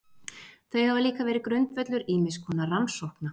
Þau hafa líka verið grundvöllur ýmiss konar rannsókna.